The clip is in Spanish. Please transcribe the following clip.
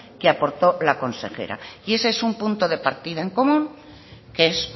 que aportó la consejera y ese es un punto de partida en común que es